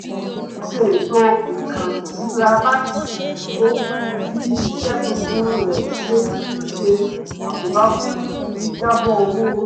ó ṣe ètò ìkànsíra láti kọ́ bí iṣẹ́ tuntun rẹ̀ ṣe ń ṣe àkóbá fún jíjábọ̀ owó orí